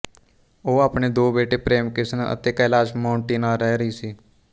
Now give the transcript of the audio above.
ਉਹ ਆਪਣੇ ਦੋ ਬੇਟੇ ਪ੍ਰੇਮ ਕਿਸ਼ਨ ਅਤੇ ਕੈਲਾਸ਼ ਮੋਂਟੀ ਨਾਲ ਰਹਿ ਰਹੀ ਸੀ